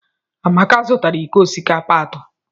Amaka zụtara iko osikapa atọ.